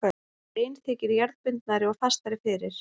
Rein þykir jarðbundnari og fastari fyrir.